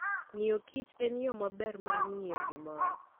Ng'iyokich en yo maber mar ng'eyo gimoro.